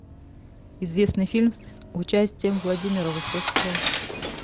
известный фильм с участием владимира высоцкого